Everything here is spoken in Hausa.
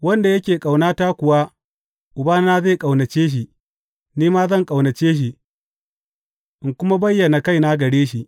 Wanda yake ƙaunata kuwa Ubana zai ƙaunace shi, ni ma zan ƙaunace shi, in kuma bayyana kaina gare shi.